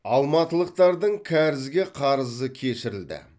алматылықтардың кәрізге қарызы кешірілді